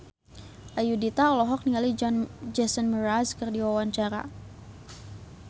Ayudhita olohok ningali Jason Mraz keur diwawancara